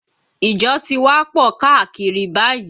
Ìjọ ti wá pọ̀ káàkiri báyìí